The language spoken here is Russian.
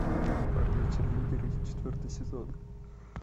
парни черлидеры четвертый сезон